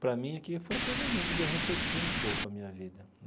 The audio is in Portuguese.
Para mim, aqui, foi até o momento de eu refletir um pouco a minha vida.